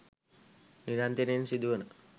නිරන්තරයෙන් සිදුවන